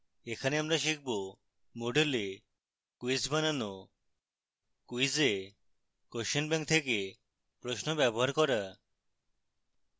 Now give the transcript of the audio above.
এখানে আমরা শিখব: